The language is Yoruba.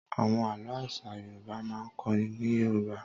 Àwọn àlọ́ àṣà Yorùbá máa ń kọ́ ni ní Yorùbá.